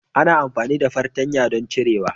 ana amfani da fartanya don ciyawa.